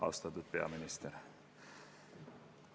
Austatud peaminister!